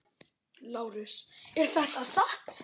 LÁRUS: Er það satt?